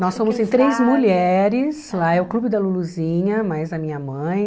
Nós somos em três mulheres, lá é o Clube da Luluzinha, mais a minha mãe.